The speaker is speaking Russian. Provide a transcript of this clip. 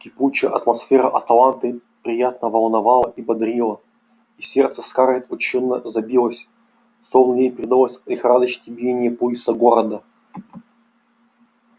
кипучая атмосфера атланты приятно волновала и бодрила и сердце скарлетт учащённо забилось словно ей передалось лихорадочное биение пульса города